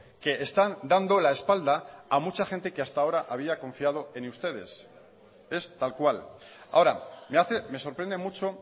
que están dando la espalda a mucha gente que hasta ahora había confiado en ustedes es tal cual ahora me sorprende mucho